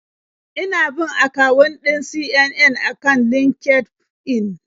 Ina bin akawun ɗin CNN a kan LinkedIn.